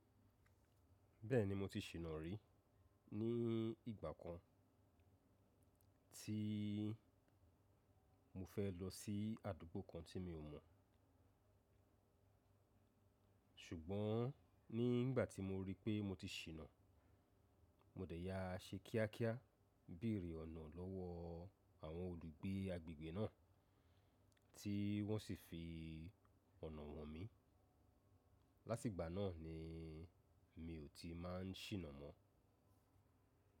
Bẹ́ẹ̀ni mo ti ṣìnà rí ní ìgbà kan tí mo fẹ́ lọ sí àdúgbò kan tí mi ò mọ̀. Ṣùgbọ́n ní ìgbà tí mo rí pé mo ti ṣìnà, mo dẹ̀ ya a ṣe kíákíá béèrè ọ̀nà lọ́wọ́ àwọn olùgbé agbègbè náà tí wọ́n sì fi ọ̀nà han mí. Láti ìgbà náà ni mi ò ti máa ń ṣìnà mọ́.